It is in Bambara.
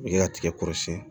I ka tigɛ kɔrɔsiyɛn